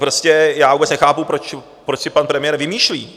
Prostě já vůbec nechápu, proč si pan premiér vymýšlí.